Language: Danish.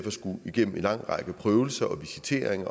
at skulle igennem en lang række prøvelser og visitering